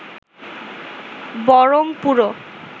বরং পুরো